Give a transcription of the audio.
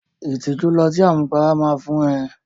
Ìtìjú lọtí àmupara máa fún ẹ.